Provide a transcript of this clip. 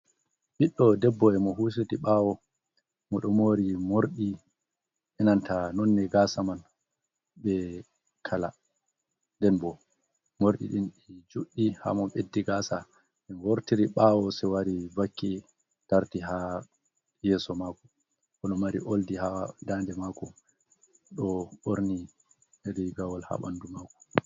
Ɓiɗɗo debbo e mo husiti ɓaawo, mo ɗo moori morɗi e nanta nonne gaasa man be kala. Nden bo morɗi ɗin ɗi juɗɗi ha mo ɓeddi gaasa wortiri ɓaawo se wari wakke tarti ha yeso mako. O ɗo mari oldi ha dande mako, ɗo ɓorni e riigawol ha ɓandu maako.